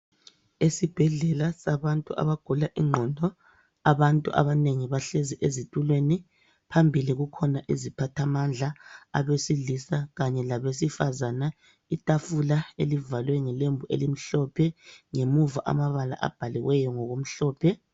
Esibhedlela sabantu abagula ingqondo, abantu abanengi bahlezi ezitulweni phambili kukhona iziphathamandla abesilisa kanye labesifazana. Itafula elivalwe ngelembu elimhlophe ngemuva amabala abhaliweyo ngokumhlophe.